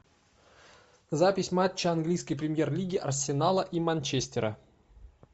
запись матча английской премьер лиги арсенала и манчестера